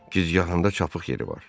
Gicgahında çapıq yeri var.